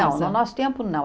Não, no nosso tempo não.